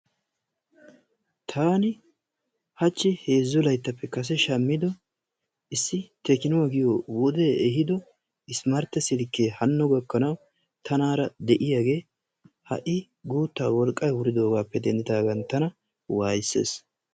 Taani haachchi heezzu layttappe kase shaammido issi tekinoo giyoo wodee ehiido ismartte silkkee haano gakkanawu tanaara de'iyaagee ha'i guutaa wolqqay wuridoogappe dendidaagan tana wayisees.